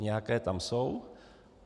Nějaké tam jsou.